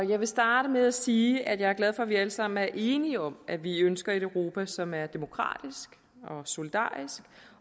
jeg vil starte med at sige at jeg er glad for at vi alle sammen er enige om at vi ønsker et europa som er demokratisk og solidarisk